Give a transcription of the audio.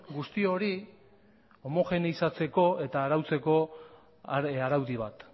guzti hori homogeneizatzeko eta arautzeko araudi bat